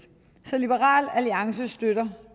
så liberal alliance støtter